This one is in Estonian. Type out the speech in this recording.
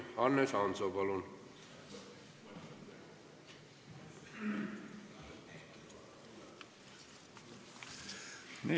Hannes Hanso, palun!